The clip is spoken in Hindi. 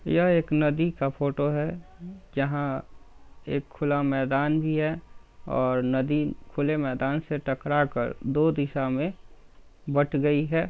यह एक नदी का फोटो है जहां एक खुला मैदान भी है और नदी खुले मैदान से टकरा कर दो दिशा में बट गई है।